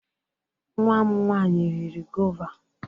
Nwa m nwanyị riri gọva.